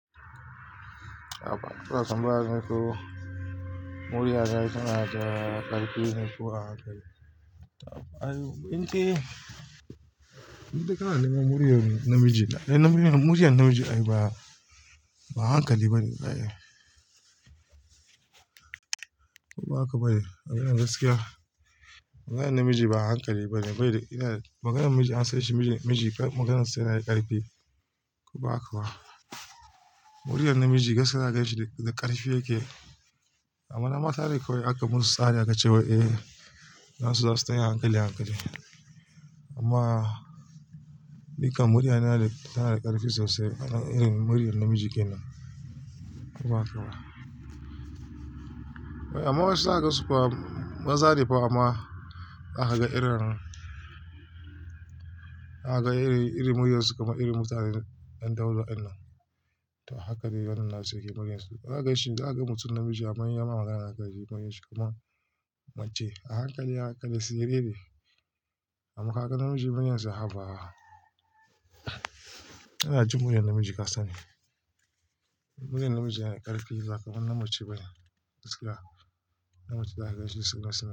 A baya suna samun haka ko, murya za a yi sana'a da ƙarfi ne kuwa haka. To ayyu, in ji, in ji ka na neman murya namiji. Ai namiji, murya namiji ai ba hankali bane. Ai ba haka ba ne. Maganar gaskiya. Maganar namiji ba hankali bane. Bai da, maganar miji an san shi miji, maganar sa yana da ƙarfi. Ko ba haka ba? Muryar namiji gaskiya za a ganshi da ƙarfi yake. Amma na mata ne kawai aka musu tsari aka ce wai eh, nasu za su tayi a hankali, hankali. Amma ni kam murya na yana da, tana da ƙarfi sosai irin muryar namiji kenan. Ko ba haka ba? Amma wasu zaka gansu kuma, mazane fa amma zaka ga irin, zaka ga iri, iri muryarsu kamar iri mutane ɗan daudu hakan nan to haka dai wannan nasu ke muryarsu. Haka shi, zaka ga mutum namiji amma inyama magana zaka ji kamar mace. A hankali, a hankali siriri amma ka g namiji muryarsa ha ba. Ina jin muryar namiji kasani muryar namiji yana da ƙarfi ba ka manna mace bane. Gaskiya. Namiji za a ganshi sai gaskiya.